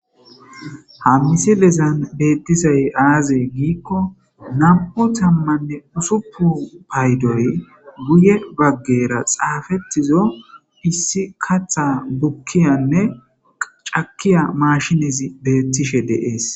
Ha missilezan bettizay aaze giiko nam'u tammane ussuppun payddoy guyye baggera xaffetizo issi kaththa bukkiyane cakkiya mashshinezi bettishe de'es.